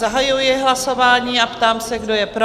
Zahajuji hlasování a ptám se, kdo je pro?